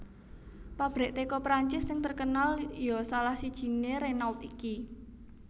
Pabrik teko Prancis sing terkenal yo salah sijine Renault iki